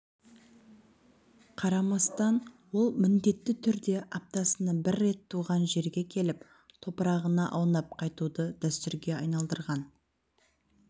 қарамастан ол міндетті түрде аптасына бір рет туған жерге келіп топырағына аунап қайтуды дәстүрге айналдырған